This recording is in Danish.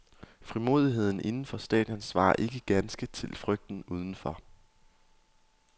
Frimodigheden inden for stadion svarer ikke ganske til frygten udenfor.